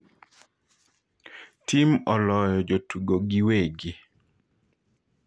Tim oloyo jotugo giwegi